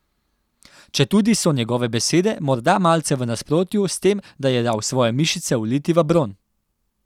Četudi so njegove besede morda malce v nasprotju s tem, da je dal svoje mišice uliti v bron.